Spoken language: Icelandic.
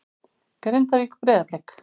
Grindavík- Breiðablik